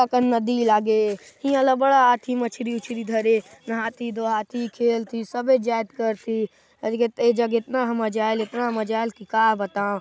अतका अकन नदी लागे इहा ला बड़ा आथी मछली उछरी धरे नहाती धोआती खेलती सबे जाएत करती ए जगह एतना ह मजा आएल एतना मजा आएल की का बताओ--